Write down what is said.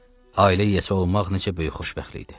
Ailə yəsi olmaq necə böyük xoşbəxtlikdir.